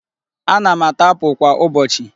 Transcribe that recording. Ana m ata apul kwa ụbọchị.